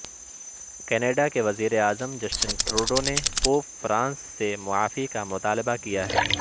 Canada کے وزیر اعظم جسٹن ٹروڈو نے پوپ فرانسس سے معافی کا مطالبہ کیا ہے